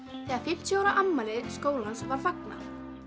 þegar fimmtíu ára afmæli skólans var fagnað